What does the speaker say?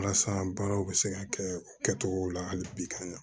Walasa baaraw bɛ se ka kɛ kɛcogow la hali bi k'an ɲa